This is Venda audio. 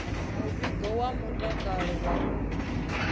muvhigo wa mutakalo wa u